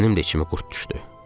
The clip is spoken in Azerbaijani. Mənim də içimə qurd düşdü.